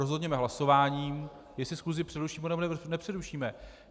Rozhodněme hlasováním, jestli schůzi přerušíme, nebo nepřerušíme.